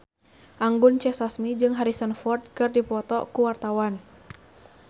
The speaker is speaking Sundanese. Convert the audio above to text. Anggun C. Sasmi jeung Harrison Ford keur dipoto ku wartawan